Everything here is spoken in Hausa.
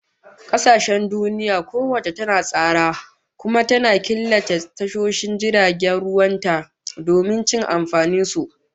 Kasashen duniya kowace ta tsara, kuma ta killace tashoshin jiragen ruwan ta domin cin amfanin su